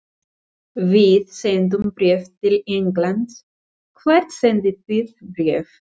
Við sendum bréf til Englands. Hvert sendið þið bréf?